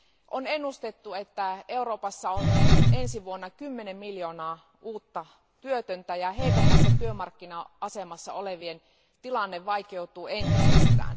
On ennustettu, että Euroopassa on ensi vuonna kymmenen miljoonaa uutta työtöntä, ja heikommassa työmarkkina asemassa olevien tilanne vaikeutuu entisestään.